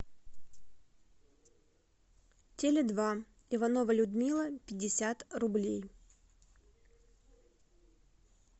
теле два иванова людмила пятьдесят рублей